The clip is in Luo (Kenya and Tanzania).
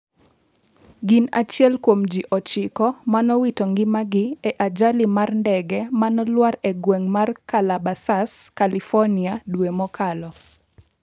gin achiel kuom ji ochiko manowito ngimagi e ajali mar ndege manolwar e gwenge ma Callabasas, California dwe mokalo